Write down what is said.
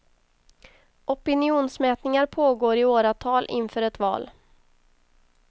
Opinionsmätningar pågår i åratal inför ett val.